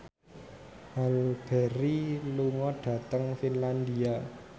Halle Berry lunga dhateng Finlandia